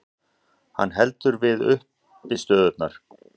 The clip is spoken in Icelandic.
Hann heldur við uppistöðurnar.